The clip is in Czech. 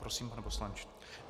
Prosím, pane poslanče.